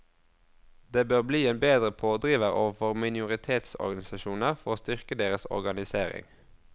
Det bør bli en bedre pådriver overfor minoritetsorganisasjoner for å styrke deres organisering.